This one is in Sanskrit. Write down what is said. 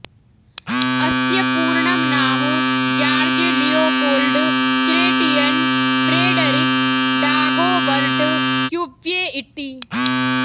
अस्य पूर्णं नाम George Leopold Chretien Frederic Dagobert Cuvier इति